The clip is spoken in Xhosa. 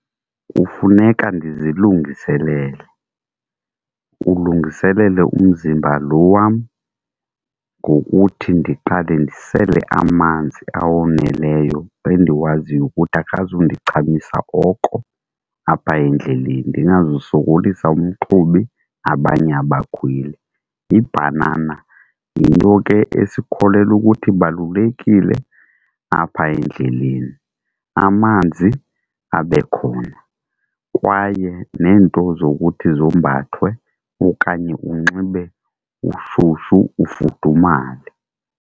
Kufuneka ndizilungiselele, kulungiselele umzimba lo wam ngokuthi ndiqale ndisele amanzi awoneleyo endiwaziyo ukuthi akazundichamisa oko apha endleleni, ndingazusokolisa umqhubi abanye abakhweli. Ibhanana yinto ke esikholelwa ukuthi ibalulekile apha endleleni, amanzi abe khona. Kwaye neento zokuthi zombathwe okanye unxibe shushu ufudumale.